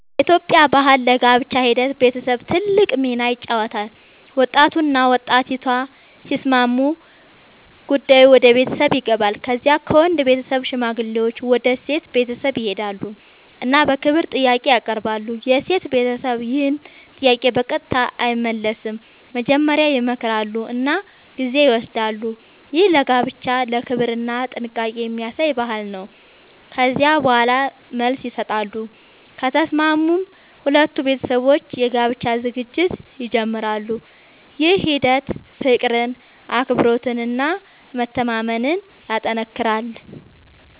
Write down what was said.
በኢትዮጵያ ባህል ለጋብቻ ሂደት ቤተሰብ ትልቅ ሚና ይጫወታል። ወጣቱና ወጣቲቱ ሲስማሙ ጉዳዩ ወደ ቤተሰብ ይገባል። ከዚያ ከወንድ ቤተሰብ ሽማግሌዎች ወደ ሴት ቤተሰብ ይሄዳሉ እና በክብር ጥያቄ ያቀርባሉ። የሴት ቤተሰብ ይህን ጥያቄ በቀጥታ አይመልስም፤ መጀመሪያ ይመክራሉ እና ጊዜ ይወስዳሉ። ይህ ለጋብቻ ክብርና ጥንቃቄ የሚያሳይ ባህል ነው። ከዚያ በኋላ መልስ ይሰጣሉ፤ ከተስማሙም ሁለቱ ቤተሰቦች የጋብቻ ዝግጅት ይጀምራሉ። ይህ ሂደት ፍቅርን፣ አክብሮትን እና መተማመንን ያጠናክራል።